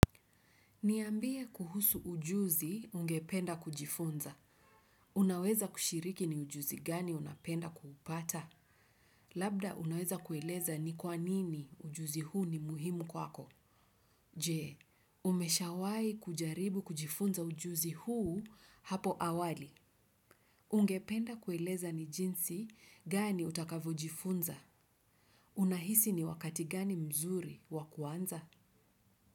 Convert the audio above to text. Niambie kuhusu ujuzi ungependa kujifunza. Unaweza kushiriki ni ujuzi gani unapenda kuupata? Labda unaweza kueleza ni kwa nini ujuzi huu ni muhimu kwako? Je, umeshawahi kujaribu kujifunza ujuzi huu hapo awali? Ungependa kueleza ni jinsi gani utakavyo jifunza? Unahisi ni wakati gani mzuri wa kuanza?